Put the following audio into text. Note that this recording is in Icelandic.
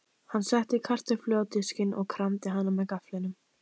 Hann setti kartöflu á diskinn og kramdi hana með gafflinum.